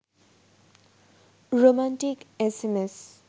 romantic SMS